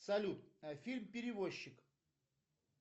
салют фильм перевозчик